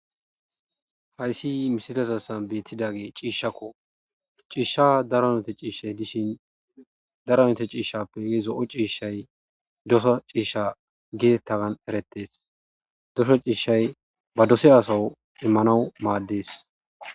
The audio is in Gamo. Hayssi misilezan beetidagey ciishshako. Ciishshan daro aynate ciishshay de'ishin daro aynate ciishshappe zo'o ciishshay dosa ciishsha geetetidagan eretes. Dosa ciishshay ba dosiya asaw immanaw maades.